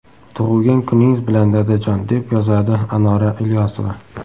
Tug‘ilgan kuningiz bilan, dadajon”, deb yozadi Anora Ilyosova.